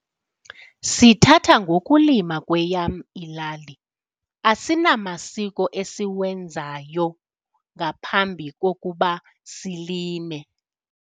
Sithatha ngokulima kweyam ilali asinamasiko esiwenzayo ngaphambi kokuba silime.